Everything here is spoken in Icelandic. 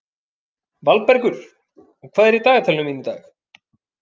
Valbergur, hvað er í dagatalinu mínu í dag?